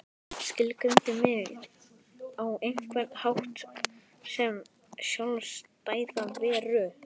Skilgreindi mig á einhvern hátt sem sjálfstæða veru.